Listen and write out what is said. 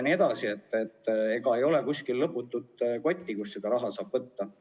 Meil ei ole põhjatut kotti, kust seda raha saaks juurde võtta.